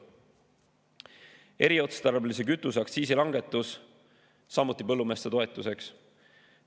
Eriotstarbelise kütuse aktsiisi langetus, samuti põllumeeste toetuseks.